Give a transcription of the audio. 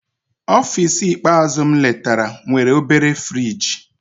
Ọfịs ikpeazụ m letara nwere obere friji.